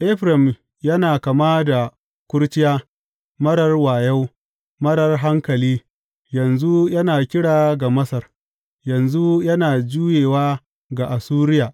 Efraim yana kama da kurciya, marar wayo, marar hankali, yanzu yana kira ga Masar, yanzu yana juyewa ga Assuriya.